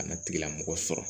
Kana tigilamɔgɔ sɔrɔ